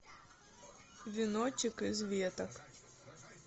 веночек из веток